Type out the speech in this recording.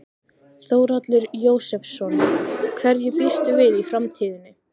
Þórhallur Jósefsson: Hverju býstu við í framtíðinni?